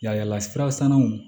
Yalayala sira sannaw